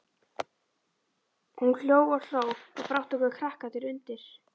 Hún hló og hló og brátt tóku krakkarnir undir.